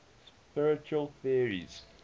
spiritual theories